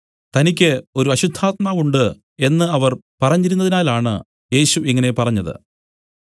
തനിക്ക് ഒരു അശുദ്ധാത്മാവ് ഉണ്ട് എന്നു അവർ പറഞ്ഞിരുന്നതിനാലാണ് യേശു ഇങ്ങനെ പറഞ്ഞത്